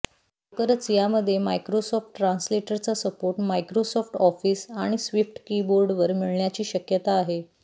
लवकरच यामध्ये मायक्रोसॉफ्ट ट्रांसलेटरचा सपोर्ट मायक्रोसॉफ्ट ऑफिस आणि स्विफ्ट कीबोर्डवर मिळण्याची शक्यता आहे